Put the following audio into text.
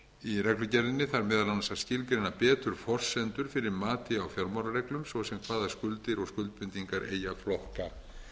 í reglugerðinni þarf meðal annars að skilgreina betur forsendur fyrir mati á fjármálareglum svo sem hvaða skuldir og skuldbindingar eigi að flokka